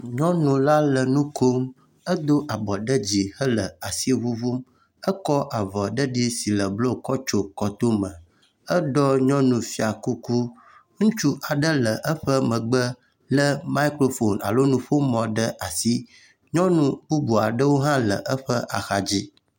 Nyɔnu la le nu kom edo abɔ ɖe dzi ele asi ŋuŋuŋm. Ekɔ avɔ ɖeɖi si le blu kɔ tso kɔtome. Eɖo nyɔnufiakuku. Ŋutsu aɖe le emegbe le mikrofoni alo nuƒomɔ ɖe asi. Nyɔnu bubu aɖewo hã le eƒe axadzi.